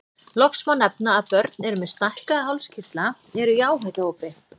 Loks má nefna að börn með stækkaða hálskirtla eru í áhættuhópi.